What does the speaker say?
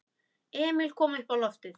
Emil kom uppá loftið.